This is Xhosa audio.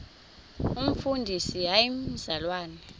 umfundisi hayi mzalwana